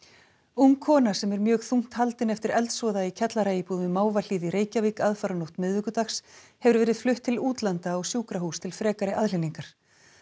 ung kona sem er mjög þungt haldin eftir eldsvoða í kjallaraíbúð við Mávahlíð í Reykjavík aðfaranótt miðvikudags hefur verið flutt til útlanda á sjúkrahús til frekari aðhlynningar